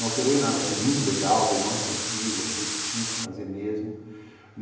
Não alterou em nada, achei muito legal, dei o maior incentivo, achei que tinha que fazer mesmo.